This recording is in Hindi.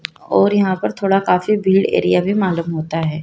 और यहां पर थोड़ा काफी भीड़ एरिया भी मालूम होता है।